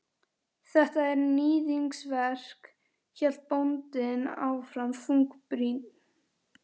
Þetta er. níðingsverk, hélt bóndinn áfram þungbrýnn.